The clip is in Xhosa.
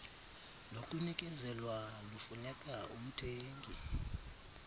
lokunikezelwa lufuneka umthengi